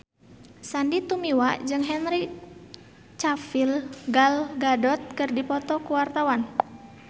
Sandy Tumiwa jeung Henry Cavill Gal Gadot keur dipoto ku wartawan